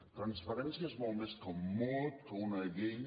transparència és molt més que un mot que una llei